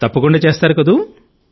తప్పకుండా చేస్తారు కదా